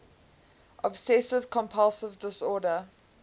obsessive compulsive disorder